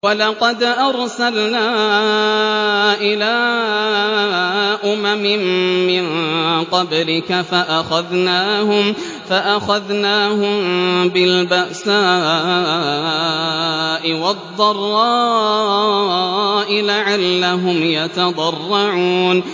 وَلَقَدْ أَرْسَلْنَا إِلَىٰ أُمَمٍ مِّن قَبْلِكَ فَأَخَذْنَاهُم بِالْبَأْسَاءِ وَالضَّرَّاءِ لَعَلَّهُمْ يَتَضَرَّعُونَ